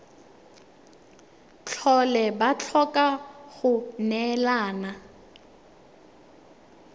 tlhole ba tlhoka go neelana